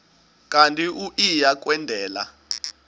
kanti uia kwendela